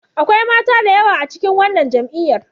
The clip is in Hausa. Akwai mata da yawa a cikin wannan jam'iyyar.